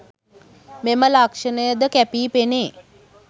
මෙම ලක්ෂණය ද කැපී පෙනේ.